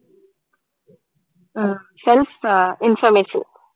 ah self informative